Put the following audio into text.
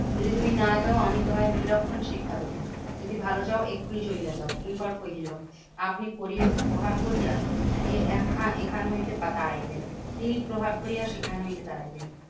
যদি তুমি না যাও আমি তোমায় বিলক্ষণ শিক্ষা দেব। যদি ভালো চাও এক্ষুনি চলিয়া যাও। কিঙ্কর কহিলো, আপনি পরে প্রহার করিয়া এই এখান এখান হইতে তাড়াইবেন। তিনি প্রহার কোরিয়া সেখান হইতে তাড়াইবেন।